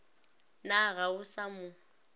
na ga o sa mo